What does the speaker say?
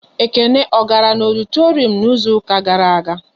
Ekene ọ gara na ọditorum n'izuka gara aga?